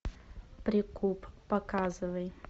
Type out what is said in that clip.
прикуп показывай